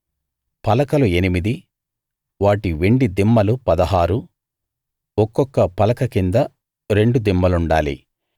పలకలు ఎనిమిది వాటి వెండి దిమ్మలు పదహారు ఒక్కొక్క పలక కింద రెండు దిమ్మలుండాలి